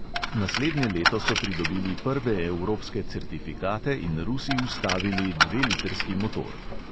Naslednje leto so pridobili prve evropske certifikate in rusi vstavili dvelitrski motor.